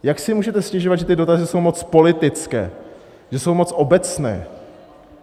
Jak si můžete stěžovat, že ty dotazy jsou moc politické, že jsou moc obecné?